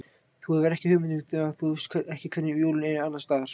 Þú hefur ekki hugmynd um það því þú veist ekki hvernig jólin eru annars staðar